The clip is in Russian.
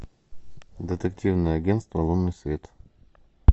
детективное агентство лунный свет